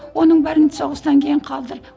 оның бәрін соғыстан кейін қалдыр